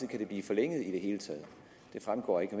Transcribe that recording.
kan det blive forlænget i det hele taget det fremgår ikke